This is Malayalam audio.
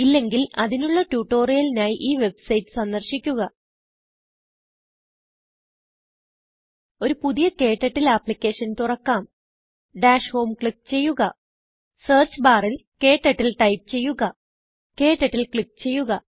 ഇല്ലെങ്കിൽ അതിനുള്ള ട്യൂട്ടോറിയലിനായി ഈ വെബ്സൈറ്റ് സന്ദർശിക്കുക ഒരു പുതിയ ക്ടർട്ടിൽ ആപ്ലിക്കേഷൻ തുറക്കാം ഡാഷ് homeക്ലിക്ക് ചെയ്യുക സെർച്ച് ബാറിൽ KTurtleടൈപ്പ് ചെയ്യുക ക്ടർട്ടിൽ ക്ലിക്ക് ചെയ്യുക